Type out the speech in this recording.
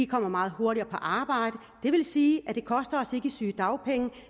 kommer meget hurtigere på arbejde det vil sige det koster os i sygedagpenge